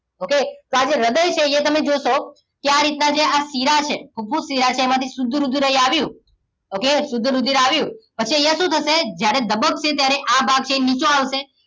Okay તો આજે હૃદય છે અહીંયા તમે જોશો કે આ રીતના આજે શિરા છે ફુફુસ શિરા છે એમાંથી શુદ્ધ રુધિર અહીં આવ્યું ઓકે શુદ્ધ રુધિર આવ્યું પછી અહીંયા શું થશે જ્યારે ધબકશે ત્યારે આ ભાગ જે નીચો આવશે